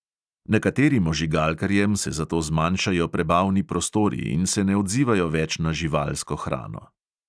Nekaterim ožigalkarjem se zato zmanjšajo prebavni prostori in se ne odzivajo več na živalsko hrano.